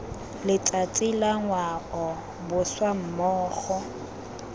letsatsi la ngwao boswa mmogo